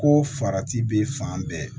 Ko farati bɛ fan bɛɛ